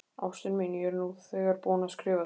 Ástin mín, ég er nú þegar búinn að skrifa þér.